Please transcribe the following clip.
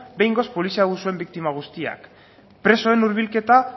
behingoz polizia abusuen biktima guztiak presoen hurbilketa